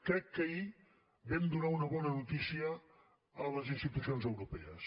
crec que ahir vam donar una bona notícia a les institucions europees